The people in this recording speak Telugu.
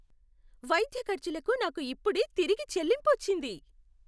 వైద్య ఖర్చులకు నాకు ఇప్పుడే తిరిగి చెల్లింపు వచ్చింది.